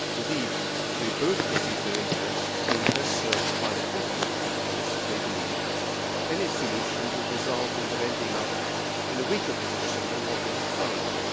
Indeed, they both perceive their interests as being best served by the conflict because they believe any solution would result in their ending up in a weaker position that what they have currently.